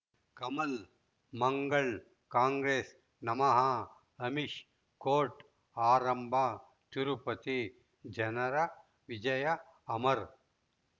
ಕಮಲ್ ಮಂಗಳ್ ಕಾಂಗ್ರೆಸ್ ನಮಃ ಅಮಿಷ್ ಕೋರ್ಟ್ ಆರಂಭ ತಿರುಪತಿ ಜನರ ವಿಜಯ ಅಮರ್